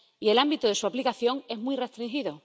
Y el ámbito de su aplicación es muy restringido.